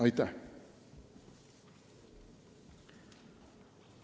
Aitäh!